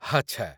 ଆଚ୍ଛା।